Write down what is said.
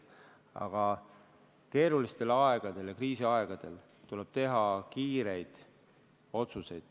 Aga keerulistel aegadel ja kriisiaegadel tuleb teha kiireid otsuseid.